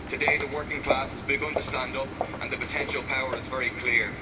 Today, the working class has begun to stand up and the potential power is very clear.